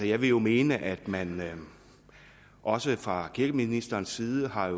jeg vil jo mene at man også fra kirkeministerens side har